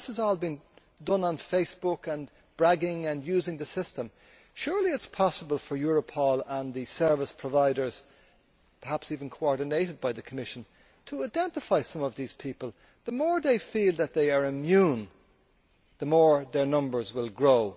This is all being done on Facebook, using the system, and it is being bragged about. Surely it is possible for Europol and the service providers perhaps even coordinated by the Commission to identify some of these people. The more they feel that they are immune, the more their numbers will grow.